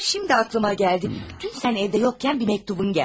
Hə, indi ağlıma gəldi, dünən sən evdə yoxkən bir məktubun gəldi.